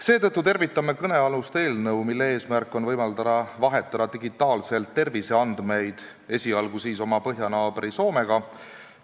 Seetõttu tervitame kõnealust eelnõu, mille eesmärk on võimaldada vahetada digitaalselt terviseandmeid, esialgu siis põhjanaaber Soomega.